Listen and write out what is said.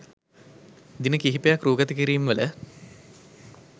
දින කිහිපයක් රූගත කිරීම් වල